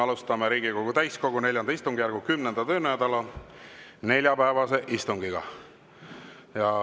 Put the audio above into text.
Alustame Riigikogu täiskogu IV istungjärgu 10. töönädala neljapäevast istungit.